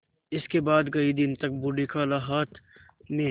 इसके बाद कई दिन तक बूढ़ी खाला हाथ में